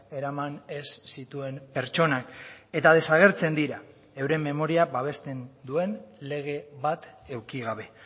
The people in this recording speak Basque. eraman ez zituen pertsonak eta desagertzen dira euren memoria babesten duen lege bat eduki gabe